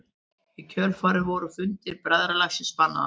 Í kjölfarið voru fundir bræðralagsins bannaðir.